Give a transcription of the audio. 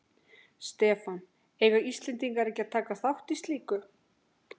Stefán: Eiga Íslendingar ekki að taka þátt í slíku?